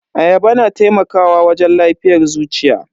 Ayaba na taimakawa wajen lafiyar zuciya.